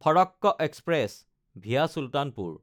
Farakka express (via Sultanpur)